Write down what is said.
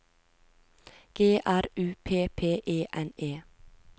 G R U P P E N E